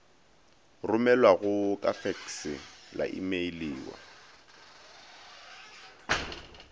romelwago ka fekse la imeiliwa